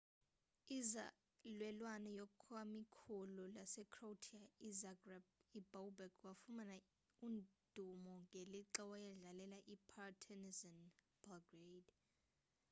inzalelwane yakwikomkhulu lasecroatia izagreb ubobek wafumana udumo ngelixa wayedlalela ipartizan belgrade